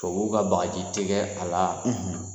Tubabuw ka bagaji tɛ kɛ a la.